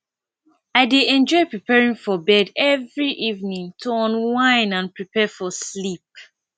i dey enjoy preparing for bed every evening to unwind and prepare for sleep